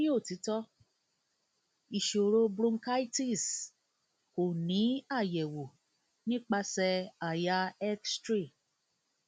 ati ni otitọ sọrọ bronchitis sọrọ bronchitis ko ni ayẹwo nipasẹ àyà x ray